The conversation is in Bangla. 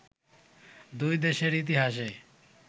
দুই দেশের ইতিহাসে